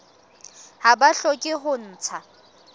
ha ba hloke ho ntsha